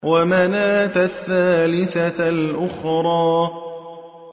وَمَنَاةَ الثَّالِثَةَ الْأُخْرَىٰ